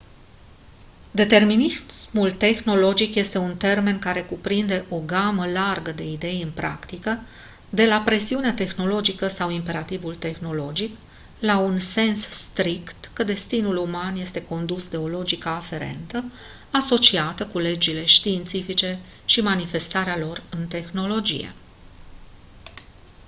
determinismul tehnologic este un termen care cuprinde o gamă largă de idei în practică de la presiunea tehnologică sau imperativul tehnologic la un sens strict că destinul uman este condus de o logică aferentă asociată cu legile științifice și manifestarea lor în tehnologie